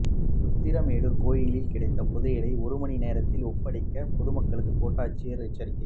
உத்திரமேரூர் கோயிலில் கிடைத்த புதையலை ஒரு மணி நேரத்தில் ஒப்படைக்க பொதுமக்களுக்கு கோட்டாட்சியர் எச்சரிக்கை